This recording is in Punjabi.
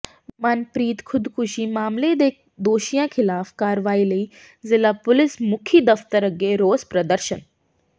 ਮਨਪ੍ਰੀਤ ਖ਼ੁਦਕੁਸ਼ੀ ਮਾਮਲੇ ਦੇ ਦੋਸ਼ੀਆਂ ਿਖ਼ਲਾਫ਼ ਕਾਰਵਾਈ ਲਈ ਜ਼ਿਲ੍ਹਾ ਪੁਲਿਸ ਮੁਖੀ ਦਫ਼ਤਰ ਅੱਗੇ ਰੋਸ ਪ੍ਰਦਰਸ਼ਨ